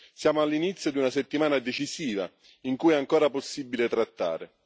Siamo all'inizio di una settimana decisiva, in cui è ancora possibile trattare.